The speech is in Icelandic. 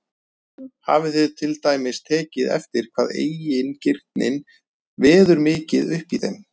Hafið þið til dæmis tekið eftir hvað eigingirnin veður mikið uppi í þeim?